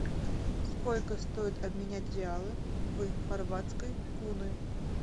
сколько стоит обменять реалы в хорватской куны